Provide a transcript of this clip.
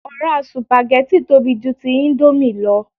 Ọ̀rá sùpàgẹ́tì tóbi ju ti íńdómì lọ